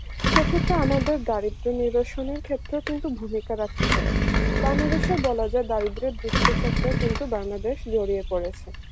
সে ক্ষেত্রে আমাদের দারিদ্র্য নিরসনের ক্ষেত্রেও কিন্তু ভূমিকা বের্থক বাংলাদেশের বলা যায় দারিদ্র্যের দুষ্টচক্রে কিন্তু বাংলাদেশ জড়িয়ে পড়েছে